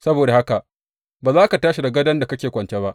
Saboda haka ba za ka tashi daga gadon da kake kwance ba.